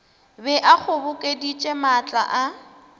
be a kgobokeditše maatla a